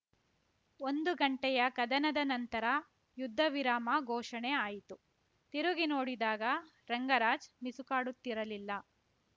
ಒಂದು ಗಂಟೆಯ ಕದನದ ನಂತರ ಯುದ್ಧ ವಿರಾಮ ಘೋಷಣೆ ಆಯಿತು ತಿರುಗಿ ನೋಡಿದಾಗ ರಂಗರಾಜ್‌ ಮಿಸುಕಾಡುತ್ತಿರಲಿಲ್ಲ